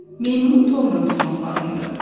Meymunu torla tutmaq lazımdır.